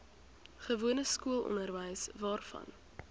gewone skoolonderwys waarvan